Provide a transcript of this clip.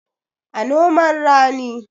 A noman rani